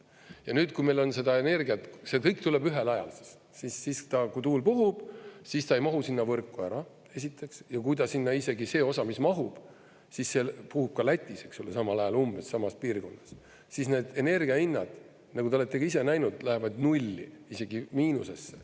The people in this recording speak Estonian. Ja nüüd, kui meil on seda energiat, see kõik tuleb ühel ajal – kui tuul puhub, siis ta ei mahu sinna võrku ära, esiteks, ja kui ta sinna isegi see osa, mis mahub, puhub ka Lätis samal ajal, umbes samas piirkonnas, siis need energia hinnad, nagu te olete ka ise näinud, lähevad nulli, isegi miinusesse.